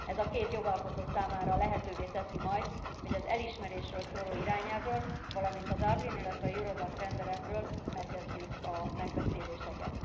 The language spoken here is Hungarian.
Ez a két jogalkotó számára lehetővé teszi majd, hogy az elismerésről szóló irányelvről, valamint a Dublin, illetve az Eurodac rendeletről megkezdjük a megbeszéléseket.